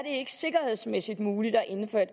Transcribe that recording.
ikke sikkerhedsmæssigt muligt at indføre et